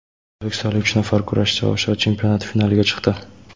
O‘zbekistonlik uch nafar kurashchi Osiyo chempionati finaliga chiqdi.